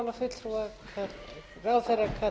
virðulegi forseti ég ætla ekkert að